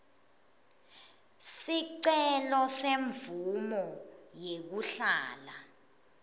sicelo semvumo yekuhlala